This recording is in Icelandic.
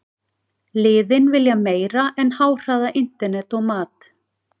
Liðin vilja meira en háhraða internet og mat.